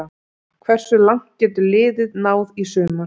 Hversu langt getur liðið náð í sumar?